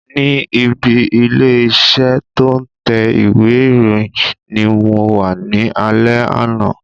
Ni ibi ilé iṣẹ́ to ń tẹ ìwé ìròyìn ni mo wá ní alẹ́ àná